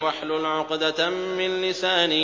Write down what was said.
وَاحْلُلْ عُقْدَةً مِّن لِّسَانِي